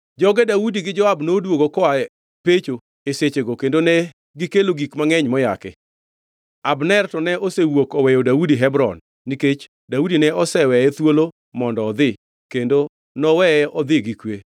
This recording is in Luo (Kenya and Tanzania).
Joge Daudi gi Joab noduogo koa pecho e sechego kendo negikelo gik mangʼeny moyaki. Abner to ne osewuok oweyo Daudi Hebron nikech Daudi ne oseweye thuolo mondo odhi, kendo noweye odhi gi kwe.